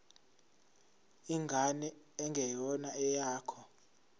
ingane engeyona eyakho